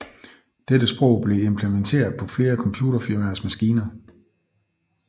Dette sprog blev implementeret på flere computerfirmaers maskiner